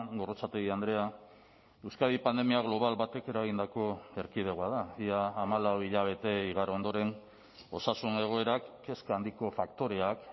gorrotxategi andrea euskadi pandemia global batek eragindako erkidegoa da ia hamalau hilabete igaro ondoren osasun egoerak kezka handiko faktoreak